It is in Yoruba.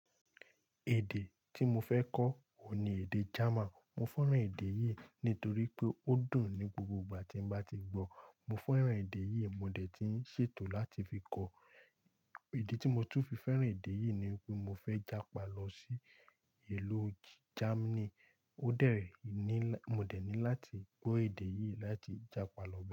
Èdè tí mo fẹ́ kọ́, òun ni èdè German. Mo fẹ́ràn èdè yìí nítorí pé ó dùn ní gbogbo ìgbà tí mo bá ti gbọ́. Mo fẹ́ràn èdè yìí, mo dẹ̀ ti ń ṣètò láti fi kọ́. Idè tí mo tún fi fẹ́ràn èdè yìí ni pé mo fẹ́ jápa lọ sí ìlú Germany. Ó dẹ́ ni, mo dẹ̀ ní láti gbọ́ èdè yìí láti jápa lọ be.